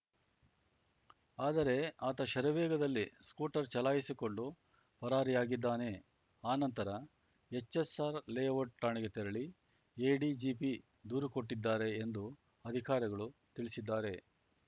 ಆದರೆ ಆತ ಶರವೇಗದಲ್ಲಿ ಸ್ಕೂಟರ್ ಚಲಾಯಿಸಿಕೊಂಡು ಪರಾರಿಯಾಗಿದ್ದಾನೆ ಆನಂತರ ಎಚ್‌ಎಸ್‌ಆರ್ ಲೇಔಟ್‌ ಠಾಣೆಗೆ ತೆರಳಿ ಎಡಿಜಿಪಿ ದೂರು ಕೊಟ್ಟಿದ್ದಾರೆ ಎಂದು ಅಧಿಕಾರಿಗಳು ತಿಳಿಸಿದ್ದಾರೆ